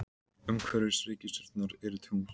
Umhverfis reikistjörnurnar eru tungl.